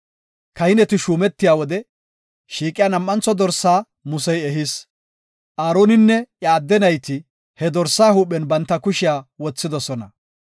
Kahineti shuumetiya wode shiiqiya nam7antho dorsaa Musey ehis; Aaroninne iya adde nayti he dorsaa huuphen banta kushiya wothidosona.